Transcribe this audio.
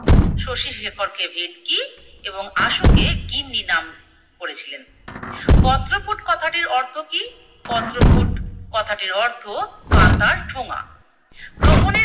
শশীশেখরকে ভেটকি এবং আশুকে গিন্নি নাম করেছিলেন। পত্রপুট কথাটির অর্থ কি? পত্রপুট কথাটির অর্থ পাতার ঠোঙা। গ্রহণের